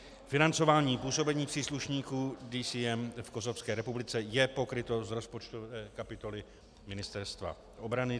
Financování působení příslušníků DCM v Kosovské republice je pokryto z rozpočtu kapitoly Ministerstva obrany.